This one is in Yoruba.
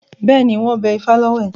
Bẹ́ẹ̀ni, wọ́n bẹ ifá lọ́wẹ̀.